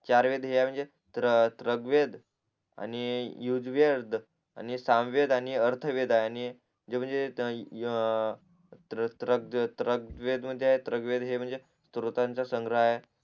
चार वेद है आहे म्हणजे त्र्गवेद आणि युजवेद आणि सामवेद आणि अर्थवेद आणि म्हणजे त्र त्र त्र त्र त्र्गवेद म्हणजे हे म्हणजे श्रोतानंचा संग्रह आहे